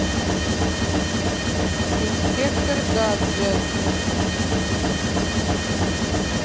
инспектор гаджет